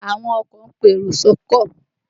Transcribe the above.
Àwọn oko ń pe èrò sọ́kọ̀